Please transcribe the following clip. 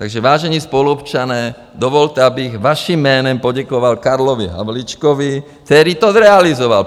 Takže, vážení spoluobčané, dovolte, abych vaším jménem poděkoval Karlovi Havlíčkovi, který to zrealizoval!